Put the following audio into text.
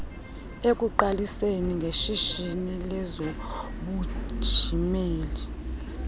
ekuqaliseni ngeshishini lezobunjineli